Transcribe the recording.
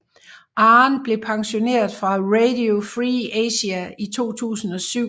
Ahn blev pensioneret fra Radio Free Asia i 2007